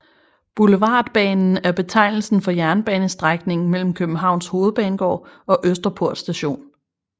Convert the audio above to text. Boulevardbanen er betegnelsen for jernbanestrækningen mellem Københavns Hovedbanegård og Østerport Station